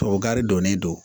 Tubabu gari donnen don